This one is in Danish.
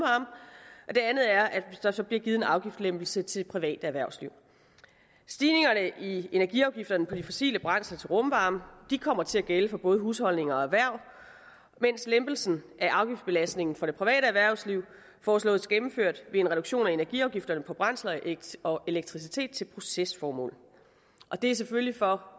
det andet er at der så bliver givet en afgiftslempelse til det private erhvervsliv stigningerne i energiafgifterne på de fossile brændsler til rumvarme kommer til at gælde for både husholdninger og erhverv mens lempelsen af afgiftsbelastningen for det private erhvervsliv foreslås gennemført ved en reduktion af energiafgifterne på brændsler og elektricitet til procesformål det er selvfølgelig for